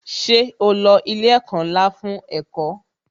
Ṣé o lo ilé ẹ̀kọ́ ńlá fún ẹ̀kọ́?